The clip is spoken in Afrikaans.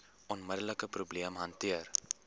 onmiddelike probleem hanteer